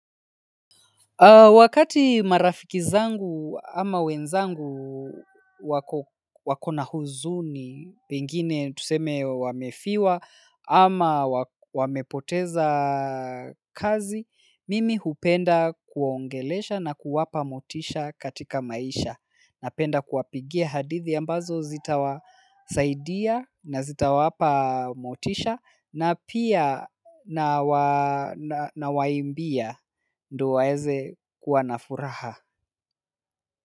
Wakati marafiki zangu ama wenzangu wako na huzuni, pengine tuseme wamefiwa ama wamepoteza kazi, mimi hupenda kuwaongelesha na kuwapa motisha katika maisha. Napenda kuwapigia hadithi ambazo zitawasaidia na zitawapa motisha na pia nawaimbia ndo waeze kuwa na furaha.